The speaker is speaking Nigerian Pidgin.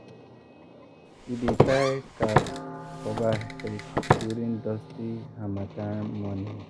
we dey tie scarf cover face during dusty harmattan morning.